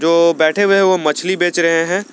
जो बैठे हुए हैं वो मछ्ली बेच रहे हैं।